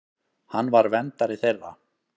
Hann var verndari þeirra.